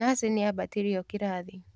Nathi nĩambatĩrio kĩrathi.